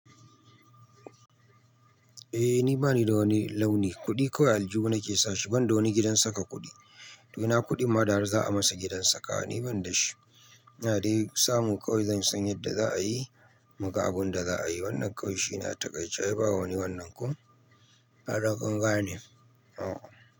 Eh ni bani da wani launi, kuɗi kawai aljuhu na ke sashi ban da wani gidan saka kuɗi. To ina kuɗin ma da har za a masa gidan saka ni ban da shi. Ina dai samun kawai zan san yadda za a yi, mu ga abun da za a yi. Wannan ƙauye shi na takaici ai ba wani wannan ko ai dai kun gane. Oh.